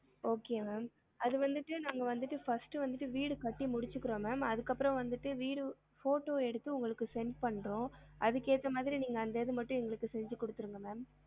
Okay ma'am அது வந்துட்டு நாங்க வந்துட்டு first டு வந்துட்டு வீடு கட்டி முடிச்சுக்குறோம் ma'am அதுக்கு அப்பறம் வந்துட்டு வீடு photo எடுத்து உங்களுக்கு send பண்றோம் அதுக்கு ஏத்த மாதிரி நீங்க அந்த இது மட்டும் எங்களுக்கு செஞ்சுகுடுத்துருங்க ma'am